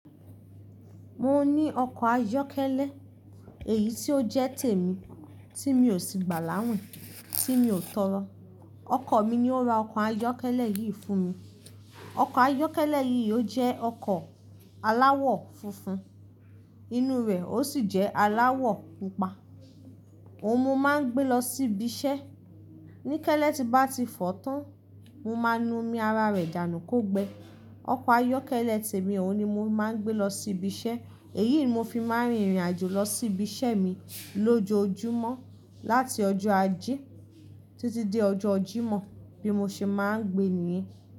Mo ní ọkọ̀ ayọ́kẹ́lẹ́ èyí tí ó jẹ́ tèmi tí mi ò sì gbà láwìn, tí mi ò tọrọ. Ọkọ mi ni ó ra ọkọ̀ ayọ́kẹ́lẹ́ yìí fún mi. Ọkọ̀ ayọ́kẹ́lẹ́ yìí ó jẹ́ ọkọ̀ aláwọ̀ funfun, inú rẹ̀ ó sì jẹ́ aláwọ̀ púpá. Òhùn mò máa ń gbé lọ síbi iṣẹ́. Níkẹ́lẹ́ tí bá ti fọ tán, mo máa nu omi ara rẹ̀ dànù kò gbẹ. Ọkọ̀ ayọ́kẹ́lẹ́ tèmi òun ni mo máa ń gbé lọ sí ibi iṣẹ́. Èyí ni mo fi máa ń rin ìrìn àjò lọ sí ibi iṣẹ́ mi lójoojúmọ́. Láti ọjọ́ ajé títí dé ọjọ́ Jímọ̀ bí mo ṣe máa ń gbé nìyẹn.